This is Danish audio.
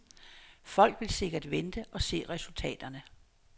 Folk vil sikkert vente og se resultaterne.